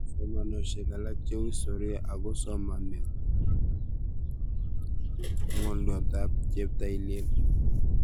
somaneshek alak cheu historia ako somanet ngolyotab cheptailel